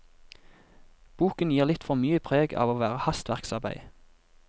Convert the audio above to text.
Boken gir litt for mye preg av å være hastverksarbeid.